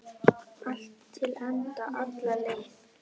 Allt til enda, alla leið.